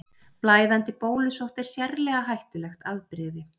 Blæðandi bólusótt er sérlega hættulegt afbrigði.